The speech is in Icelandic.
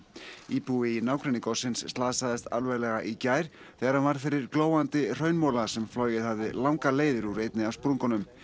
íbúi í nágrenni gossins slasaðist alvarlega í gær þegar hann varð fyrir glóandi hraunmola sem flogið hafði langar leiðir úr einni af sprungunum